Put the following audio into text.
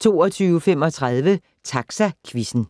22:35: Taxaquizzen